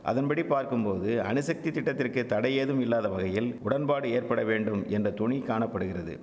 அதன்படி பார்க்கும்போது அணுசக்தி திட்டத்திற்கு தடை ஏதும் இல்லாத வகையில் உடன்பாடு ஏற்பட வேண்டும் என்ற தொனி காண படுகிறது